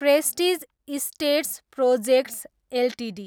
prestige estates projects Ltd